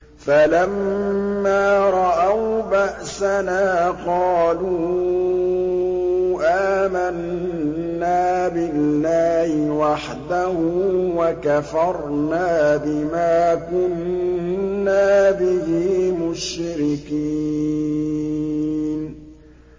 فَلَمَّا رَأَوْا بَأْسَنَا قَالُوا آمَنَّا بِاللَّهِ وَحْدَهُ وَكَفَرْنَا بِمَا كُنَّا بِهِ مُشْرِكِينَ